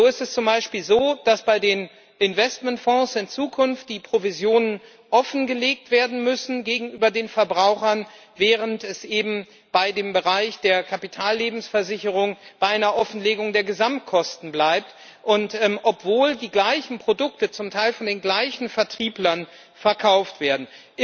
So ist es zum Beispiel so, dass bei den Investmentfonds in Zukunft die Provisionen gegenüber den Verbrauchern offengelegt werden müssen, während es eben im Bereich der Kapitallebensversicherung bei einer Offenlegung der Gesamtkosten bleib, obwohl die gleichen Produkte zum Teil von den gleichen Vertrieblern verkauft werden.